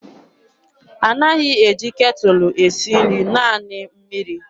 A naghị eji ketụlụ esi nri, naanị mmiri.